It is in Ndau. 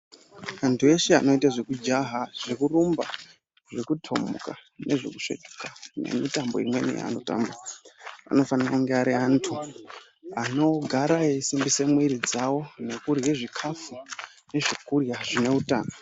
Antu eshe anoita zvekujaha zvekurumba zvekutomuka nezvekusvetuka nemitombo imweni yaanotamba anofanire kunge ari antu anogara aisimbisa mwiri dzavo nekurye zvikafu zvekurye zvine utano .